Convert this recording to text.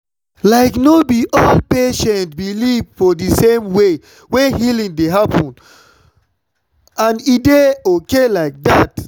like no be all patients believe for the same way wey healing dey happen and e dey okay like that.